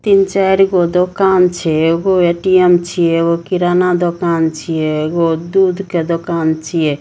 तीन-चारगो दुकान छिए एगो ए.टी.एम. छिए एगो किराना दुकान छिए एगो दूध के दूकान छिए।